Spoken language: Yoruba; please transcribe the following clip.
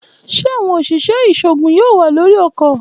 Ṣe awọn oṣiṣẹ iṣoogun yoo wa lori ọkọ?